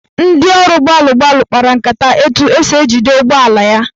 Ndị ọrụ gbalụ gbalụ kpara nkata etu esi jide ụgbọala ya.